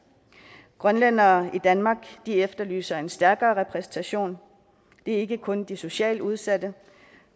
grønlændere i danmark efterlyser en stærkere repræsentation og ikke kun de socialt udsatte